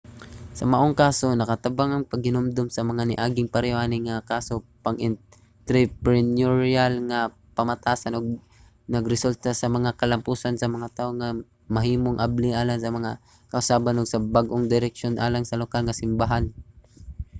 sa maong kaso nakatabang ang paghinumdom sa mga niaging pareho ani nga mga kaso sa pang-entrepreneurial nga pamatasan ug nagresulta sa mga kalampusan sa mga tawo nga mahimong abli alang sa mga kausaban ug sa bag-ong direksyon alang sa lokal nga simbahan